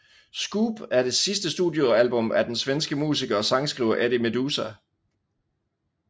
Scoop er det sidste studiealbum af den svenske musiker og sangskriver Eddie Meduza